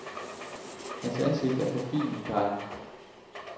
Hans ansigt er forfinet drenget.